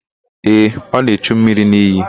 Ee, ọ na-echu mmiri n'iyi.